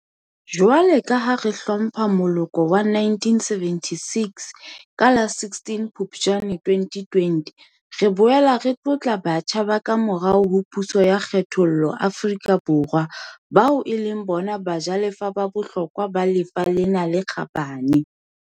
Jwale, ha re hlompha moloko wa 1976 ka la 16 Phuptjane 2020, re boela re tlotla batjha ba kamorao ho puso ya kgethollo Afrika Borwa, bao e leng bona bajalefa ba bohlokwa ba lefa lena le kgabane.